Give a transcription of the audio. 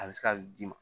A bɛ se ka d'i ma